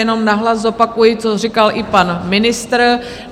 Jenom nahlas zopakuji, co říkal i pan ministr.